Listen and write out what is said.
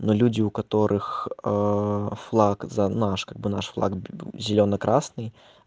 но люди у которых флаг за наш как бы наш флаг зёлено-красный